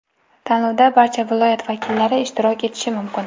Tanlovda barcha viloyat vakillari ishtirok etishi mumkin.